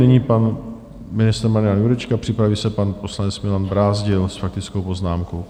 Nyní pan ministr Marian Jurečka, připraví se pan poslanec Milan Brázdil s faktickou poznámkou.